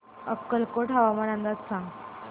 अक्कलकोट हवामान अंदाज सांग